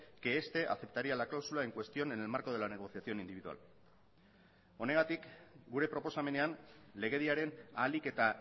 que este aceptaría la cláusula en cuestión en el marco de la negociación individual honegatik gure proposamenean legediaren ahalik eta